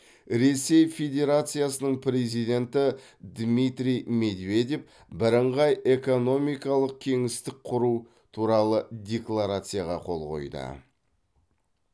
ресей федерациясының президенті дмитрий медведев бірыңғай экономикалық кеңістік құру туралы декларацияға қол қойды